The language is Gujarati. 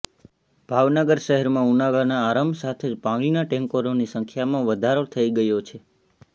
ભાવનગર શહેરમાં ઉનાળાના આરંભ સાથે જ પાણીના ટેન્કરોની સંખ્યામાં વધારો થઈ ગયો છે